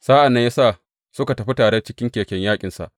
Sa’an nan ya sa suka tafi tare cikin keken yaƙinsa.